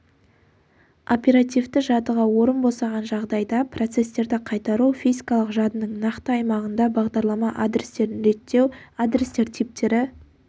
оперативті жадыға орын босаған жағдайда процестерді қайтару физикалық жадының нақты аймағында бағдарлама адрестерін реттеу адрестер типтері